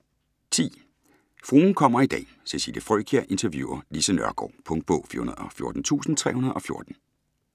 Fruen kommer i dag: Cecilie Frøkjær interviewer Lise Nørgaard Punktbog 414314